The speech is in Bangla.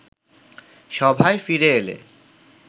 সভায় ফিরে এলে